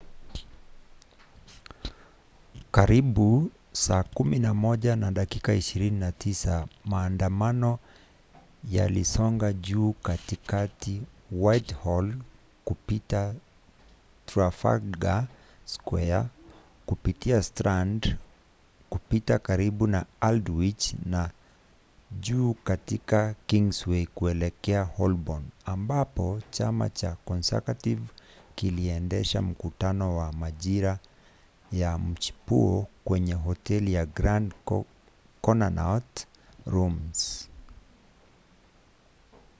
karibu 11:29 maandamano yalisonga juu katika whitehall kupita trafalgar square kupitia strand kupita karibu na aldwych na juu katika kingsway kuelekea holborn ambapo chama cha conservative kiliendesha mkutano wa majira ya mchipuo kwenye hoteli ya grand connaught rooms